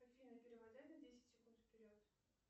афина перемотай на десять секунд вперед